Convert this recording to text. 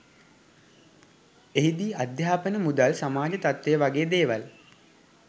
එහිදී අධ්‍යාපන මුදල් සමාජ තත්වය වගේ දේවල්